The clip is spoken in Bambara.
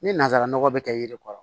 Ni nanzara nɔgɔ bɛ kɛ yiri kɔrɔ